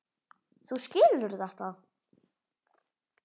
Þú skilur þetta?